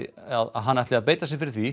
hann ætli að beita sér fyrir því